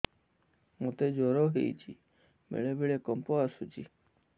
ମୋତେ ଜ୍ୱର ହେଇଚି ବେଳେ ବେଳେ କମ୍ପ ଆସୁଛି